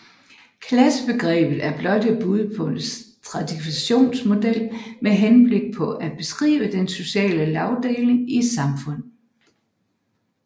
Klassebegrebet er blot ét bud på en stratifikationsmodel med henblik på at beskrive den sociale lagdeling i et samfund